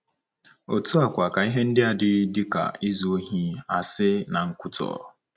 Otú a kwa ka ihe ndia dị dịka izu ohi, asi, na nkwutọ.